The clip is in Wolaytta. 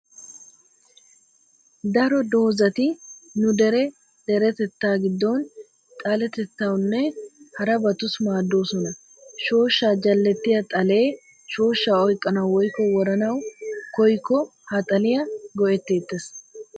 Daro doozzati nu dere deretettaa giddon xalettettawune harabatussi maaddoosona. Shooshshaa jallettiya xallee shooshsha oyqqanawu woykko woranawu koyyikko ha xaliya go'etteettes.